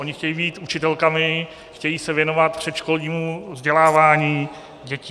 Ony chtějí být učitelkami, chtějí se věnovat předškolnímu vzdělávání dětí.